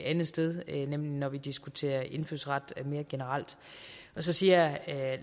andet sted nemlig når vi diskuterer indfødsret mere generelt så siger herre